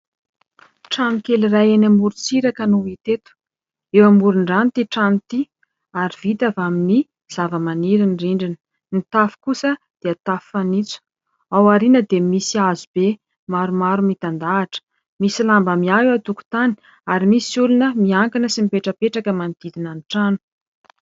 Trano kely iray eny amoron- tsiraka noh iteto eo amorin-drano ity trano ity ary vita avy amin'ny zava-maniry ny rindrina ny tafo kosa dia tafo fanitso ao ariana dia misy hazo be maromaro mitandahatra misy lamba miahy eo a tokon-tany ary misy olona miankina sy mipetrapetraka manotidina ny trano